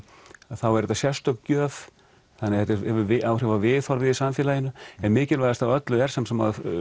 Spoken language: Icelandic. er þetta sérstök gjöf þannig það hefur áhrif á viðhorfið í samfélaginu en mikilvægast af öllu er samt sem áður